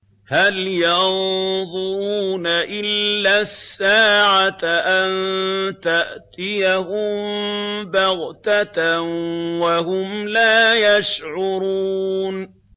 هَلْ يَنظُرُونَ إِلَّا السَّاعَةَ أَن تَأْتِيَهُم بَغْتَةً وَهُمْ لَا يَشْعُرُونَ